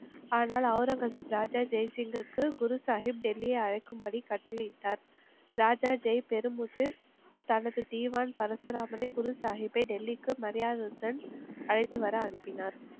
ஆனால் ஒளரங்கசீப் ராஜா ஜெய்சிங்கிற்கு குரு சாஹிப் டெல்லி அழைக்கும்படி கட்டளையிட்டார். ராஜா ஜெய் தனது திவான் பரசுராமனை குருசாஹிப்பை டெல்லிக்கு மரியாதையுடன் அழைத்துவர அனுப்பினார்